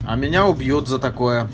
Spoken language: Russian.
а меня убьёт за так